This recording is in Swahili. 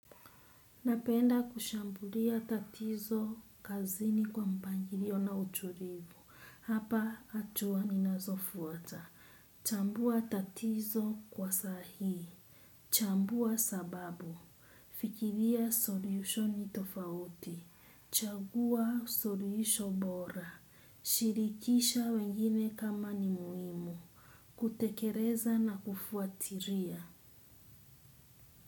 Napenda kushambulia tatizo kazini kwa mpangiliona utulivu. Hapa hatua ni nazofuata. Chambua tatizo kwa sahii. Chambua sababu. Fikiria solutioni tofauti. Chagua soluhisho bora. Shirikisha wengine kama ni muhimu. Kutekereza na kufuatiria.